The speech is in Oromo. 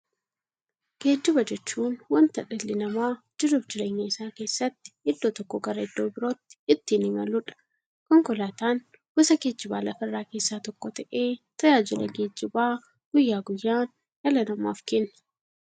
Geejjiba jechuun wanta dhalli namaa jiruuf jireenya isaa keessatti iddoo tokkoo gara iddoo birootti ittiin imaluudha. Konkolaatan gosa geejjibaa lafarraa keessaa tokko ta'ee, tajaajila geejjibaa guyyaa guyyaan dhala namaaf kenna.